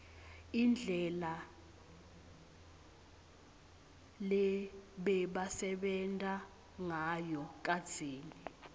indlela lebebasebenta ngayo kadzeni